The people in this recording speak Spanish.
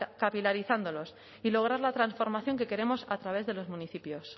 capilarizándolos y lograr la transformación que queremos a través de los municipios